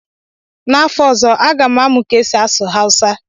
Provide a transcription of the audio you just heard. n'afọ ọzọ, Aga m amụ ka esi asụ hausa